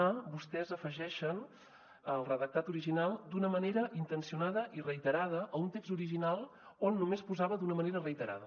a vostès afegeixen al redactat original d’una manera intencionada i reiterada a un text original on només posava d’una manera reiterada